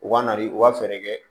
U ka nari u ka fɛɛrɛ kɛ